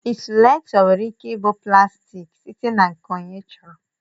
Insuletọ nwere ike ịbụ plaastiki site na nke onye chọrọ.